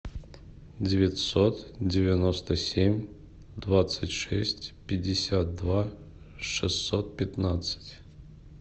девятьсот девяносто семь двадцать шесть пятьдесят два шестьсот пятнадцать